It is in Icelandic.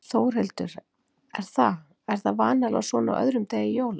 Þórhildur: Er það, er það vanalega svona á öðrum degi jóla?